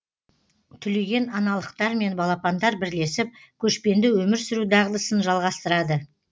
түлеген аналықтармен балапандар бірлесіп көшпенді өмір сүру дағдысын жалғастырады